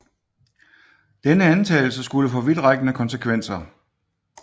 Denne antagelse skulle få vidtrækkende konsekvenser